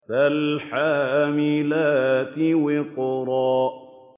فَالْحَامِلَاتِ وِقْرًا